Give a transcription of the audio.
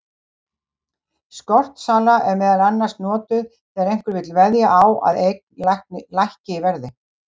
Skortsala er meðal annars notuð þegar einhver vill veðja á að eign lækki í verði.